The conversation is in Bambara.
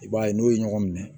I b'a ye n'o ye ɲɔgɔn minɛ